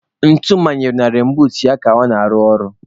Ntu manyere na reinbuut ya ka ọ na-arụ ọrụ.